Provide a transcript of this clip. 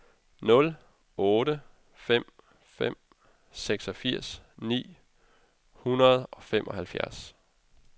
nul otte fem fem seksogfirs ni hundrede og femoghalvfjerds